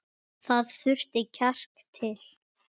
Það þurfti kjark til.